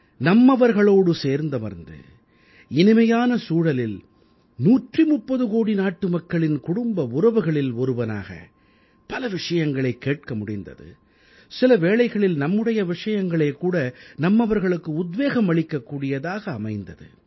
நம்மவர்களோடு சேர்ந்தமர்ந்து இனிமையான சூழலில் 130 கோடி நாட்டுமக்களின் குடும்ப உறவுகளில் ஒருவனாக பல விஷயங்களைக் கேட்க முடிந்தது சில வேளைகளில் நம்முடைய விஷயங்களே கூட நம்மவர்களுக்கு உத்வேகம் அளிக்க கூடியதாக அமைந்தது